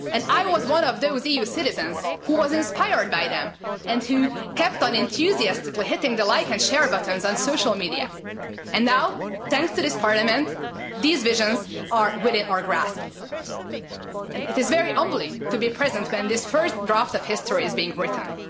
And I was one of those EU citizens who was inspired by them and who kept on enthusiastically hitting the like and share buttons on social media. And now, thanks to this Parliament, these visions are within our grasp and it is very humbling to be present when this first draft of history is being written.